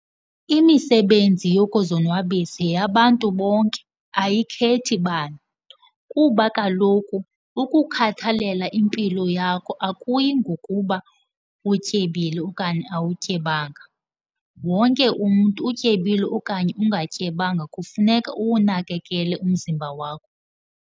Imisebenzi yokuzonwabisa yeyabantu bonke, ayikhethi bani. Kuba kaloku ukukhathalela impilo yakho akuyi ngokuba utyebile okanye awutyebanga. Wonke umntu, utyebile okanye ungatyebanga, kufuneka uwunakekele umzimba wakho.